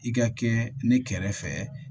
I ka kɛ ne kɛrɛfɛ